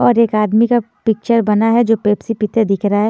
और एक आदमी का पिक्चर बना है जो पेप्सी पीते दिख रहा है।